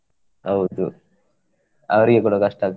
ಹೌದು ಅವ್ರಿಗೆ ಕೂಡ ಕಷ್ಟ ಆಗ್ತದೆ.